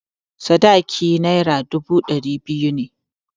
Sadakin Naira dubu ɗari biyu ne.